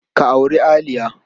Ka auri Aliya.